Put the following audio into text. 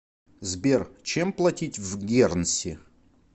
сбер чем платить в гернси